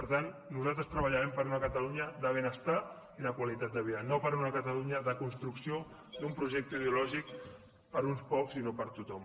per tant nosaltres treballarem per una catalunya de benestar i de qualitat de vida no per una catalunya de construcció d’un projecte ideològic per a uns pocs i no per a tothom